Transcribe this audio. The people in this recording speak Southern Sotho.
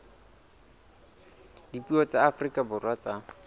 dipuo tsa afrika borwa tsa